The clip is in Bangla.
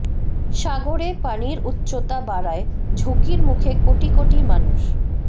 সাগরে পানির উচ্চতা বাড়ায় ঝুঁকির মুখে কোটি কোটি মানুষ